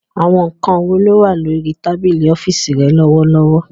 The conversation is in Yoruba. Àwọn nǹkan wo ló wà ní orí tábìlì ọ́fíìsì rẹ lọ́wọ́lọ́wọ́